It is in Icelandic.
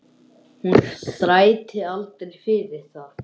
Hún þrætti aldrei fyrir það.